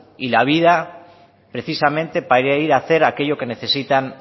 y la vida precisamente para ir hacer aquello que necesitan